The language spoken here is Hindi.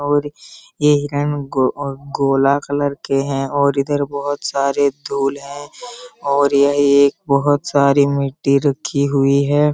और ये हिरण गो गोला कलर के हैं और इधर बहुत सारे धुल हैं और ये एक बहुत सारे मिट्टी रखी हुई है।